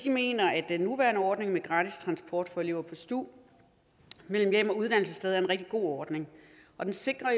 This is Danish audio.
mener at den nuværende ordning med gratis transport for elever på stu mellem hjem og uddannelsessted er en rigtig god ordning og den sikrer